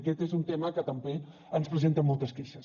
aquest és un tema que també ens presenten moltes queixes